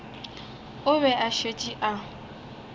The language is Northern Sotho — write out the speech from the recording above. o be a šetše a